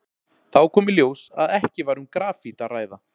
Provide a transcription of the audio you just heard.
Þá kom í ljós að ekki var um grafít að ræða.